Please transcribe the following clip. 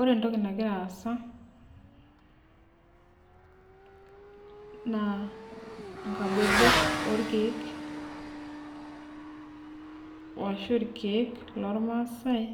Ore entoki nagira aasa naa inkabobok orkeek ashu irkeek loormaasae